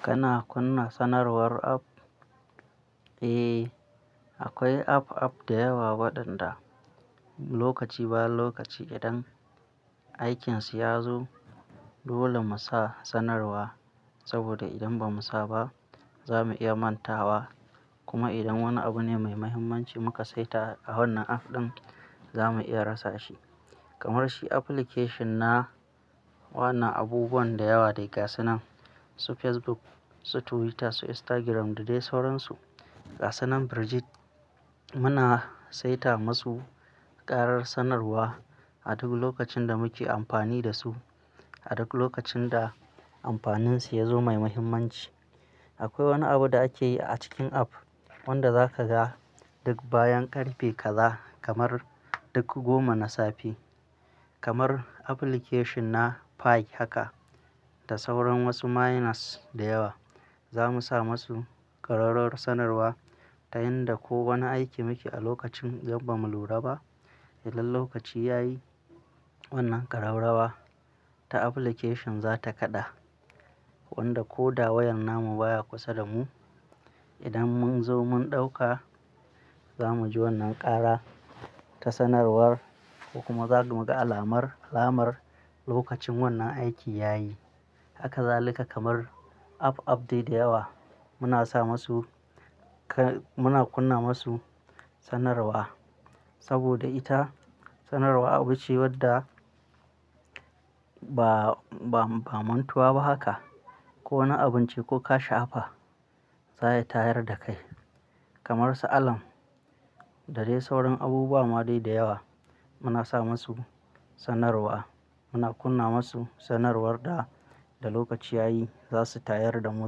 Kana kunna sanarwar app? Eh, akwai app-app da yawa waɗanda, lokaci bayan lokaci idan aikinsu ya zo, dole mu sa sanarwa. Saboda idan ba mu sa ba, za mu iya manta wa. Kuma idan wani abu ne mai mahimmanci muka saita a wannan app ɗin, za mu iya rasa shi. Kamar shi application na wanan abubuwan da yawa dai gasanan, su Facebook, su Twitter, su Instagram da dai sauransu. Gasanan burjt, muna saita masu ƙarar sanarwa a duk lokacin da muke amfani da su, a duk lokacin da amfaninsu ya zo mai mahimmanci. Akwai wani abu da ake yi a cikin app, wanda za ka ga, duk bayan ƙarfe kaza, kamar duk goma na safe. Kamar application na, Pi haka, da sauran wasu miners da yawa. Za mu sa masu ƙararar sanarwa, ta yanda ko wani aiki muke a lokacin idan ba mu lura ba, idan lokaci ya yi, wannan ƙararrawa ta application za ta kaɗa. Wanda ko da wayan namu baya kusa da mu, idan mun zo mun ɗauka, za mu ji wannan ƙara, ta sanarwar ko kuma za mu ga alamar, alamar lokacin wannan aiki ya yi. Haka zalika kamar app, app dai da yawa, muna sa masu, muna kunna masu sanarwa. Saboda ita sanarwa abu ce wadda ba, ba, ba mantuwa ba haka. Ko wani abun ce, ko ka sha'afa zaya tayar da kai. Kamar su alarm, da dai sauran abubuwa ma dai da yawa. Muna sa masu sanarwa. Muna kunna masu, sanarwar da, da lokaci ya yi, za su tayar da mu,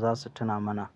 za su tuna mana.